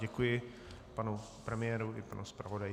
Děkuji panu premiérovi i panu zpravodaji.